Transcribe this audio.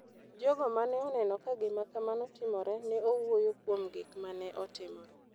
Jogo ma ne oneno ka gima kamano timore ne owuoyo kuom gik ma ne otimore.